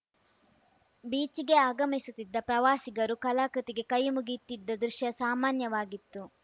ಬೀಚ್‌ಗೆ ಆಗಮಿಸುತ್ತಿದ್ದ ಪ್ರವಾಸಿಗರು ಕಲಾಕೃತಿಗೆ ಕೈಮುಗಿಯುತ್ತಿದ್ದ ದೃಶ್ಯ ಸಾಮಾನ್ಯವಾಗಿತ್ತು